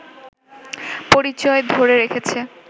পরিচয় ধরে রেখেছে